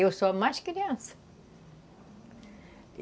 Eu sou a mais criança.